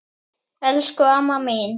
Elsku amma mín!